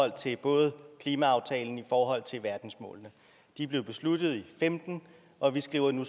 til både klimaaftalen og i forhold til verdensmålene de blev besluttet i og femten og vi skriver nu